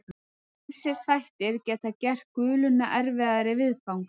Ýmsir þættir geta gert guluna erfiðari viðfangs.